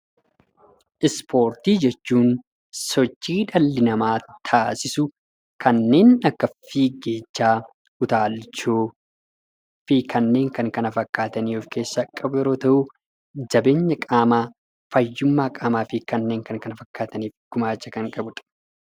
Ispoortii jechuun sochii dhalli namaa taasisu kanneen akka fiigichaa, utaalchoo fi kanneen kana fakkaatan of keessa qabu yeroo ta'u, jabeenya qaamaa, fayyummaa qaamaa fi kanneen kana fakkaataniif gumaacha kan qabu dha.